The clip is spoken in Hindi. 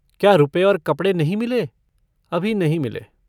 क्या रुपये और कपड़े नहीं मिले अभी नहीं मिले।